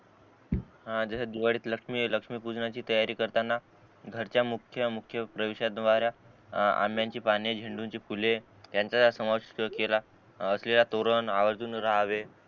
हा जस दिवाळी मध्ये लक्ष्मीलक्ष्मी पूजनाची तयारी करताना घरच्या मुख्य मुख्य प्रवेश द्वारा आ आंब्याची पाने झेंडूची फुले त्यांचा समज केला असलेला तोरण आवर्जून राहावे